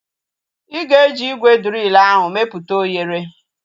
Ịga eji ígwè driil ahu meputa oghere